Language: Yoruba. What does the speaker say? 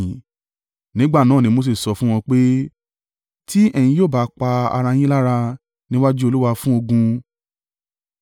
Nígbà náà ni Mose sọ fún wọn pé, “Tí ẹ̀yin yóò bá pa ara yín lára, níwájú Olúwa fún ogún.